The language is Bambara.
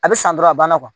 A bɛ san dɔrɔn a banna